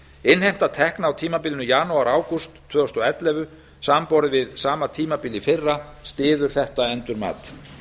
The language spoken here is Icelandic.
innheimta tekna á tímabilinu janúar ágúst tvö þúsund og ellefu samanborið við sama tímabil í fyrra styður þetta endurmat